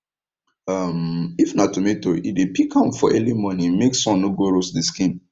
um if na tomato e dey pick am for early morning make sun no go roast the skin